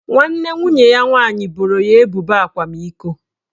Nwanne nwunye ya nwaanyị boro ya ebubo akwamiko